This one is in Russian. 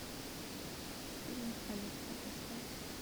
фильм полетта поставь